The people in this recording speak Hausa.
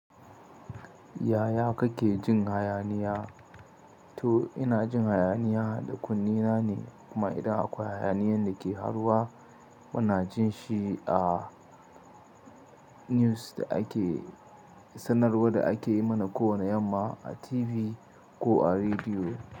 Yaya kake jin hayaniya? To ina jin hayaniya da kunne na ne kuma idan akwai hayaniyan da ke faruwa muna jin shi a news da ake sanarwa da ake yi mana kowane yamma a TV ko a rediyo.